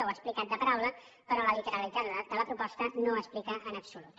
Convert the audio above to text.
ho ha explicat de paraula però la literalitat de la proposta no ho explica en absolut